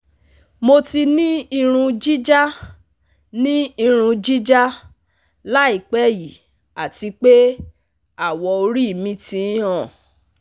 Mo ti ni irun jija ni irun jija laipe yi ati pe awọ-ori mi ti n han